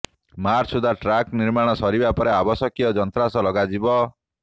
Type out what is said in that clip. March ସୁଦ୍ଧା track ନିର୍ମାଣ ସରିବା ପରେ ଆବଶ୍ୟକୀୟ ଯନ୍ତ୍ରାଂଶ ଲଗାଯିବ